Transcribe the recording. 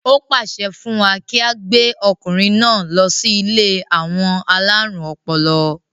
ó pàṣẹ fún wa kí á gbé ọkùnrin náà lọ sí ilé àwọn alárùn ọpọlọ